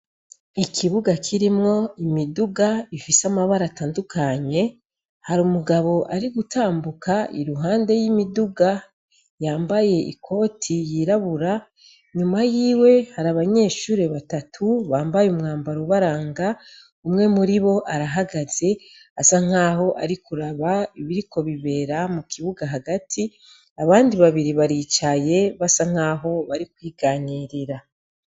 Ikibuga kirimwo imiduga ifise amabara atandukanye hari umugabo ari gutambuka i ruhande y'imiduga yambaye ikoti yirabura nyuma yiwe hari abanyeshure batatu bambaye umwambaro ubaranga umwe muri bo arahagaze asa nk'aho arikuraba ibiriko bibera mu kibuga hagati abandi babiri baricaye basa nkaho bari kwiganyirira.